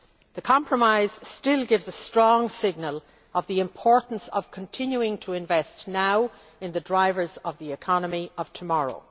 The compromise still gives a strong signal concerning the importance of continuing to invest now in the drivers of the economy of tomorrow.